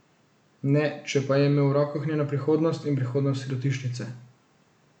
Ne, če pa je imel v rokah njeno prihodnost in prihodnost sirotišnice.